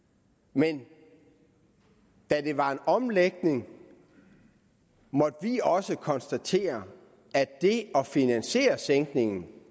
men da det var en omlægning måtte vi også konstatere at det at finansiere sænkningen